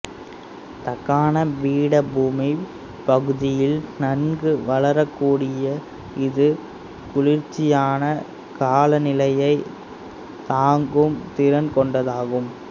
தக்காணப் பீடபூமிப் பகுதியில் நன்கு வளரக்கூடிய இது குளிர்ச்சியான காலநிலையைத் தாங்கும் திறன் கொண்டதாகும்